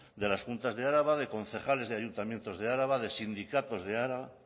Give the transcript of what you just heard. de las juntas de araba de concejales y ayuntamientos de araba de sindicatos de araba